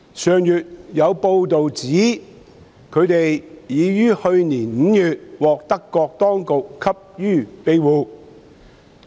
上月有報道指他們已於去年5月獲德國當局給予庇護。